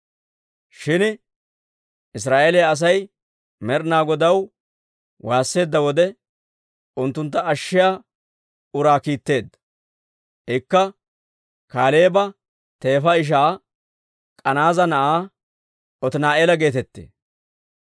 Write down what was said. Shin Israa'eeliyaa Asay Med'inaa Godaw waasseedda wode, unttuntta ashshiyaa uraa kiitteedda; ikka Kaaleeba teefa ishaa K'anaaza na'aa Otini'eela geetettee.